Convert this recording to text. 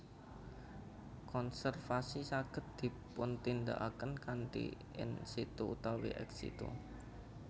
Konservasi saged dipuntindakaken kanthi in situ utawi ex situ